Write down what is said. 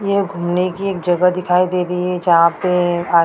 ये घूमने की एक जगह दिखाई दे रही है जहां पे हा--